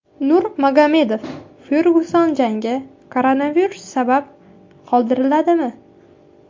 Nurmagomedov Fergyuson jangi koronavirus sabab qoldiriladimi?